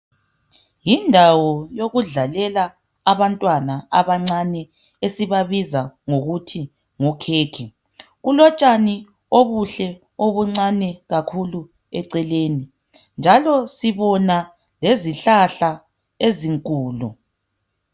Yindawo yokudlalela abantwana abancane esibabiza ngokuthi ngokhekhe, kulotshani obuhle obuncane kakhulu eceleni njalo sibona lezihlahla ezinkulu